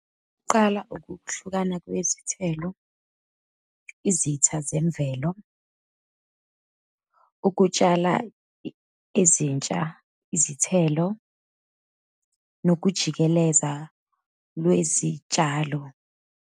Kuqala ukuhlukana kwezithelo, izitha zemvelo, ukutshala izintsha izithelo, nokujikeleza lwezitshalo.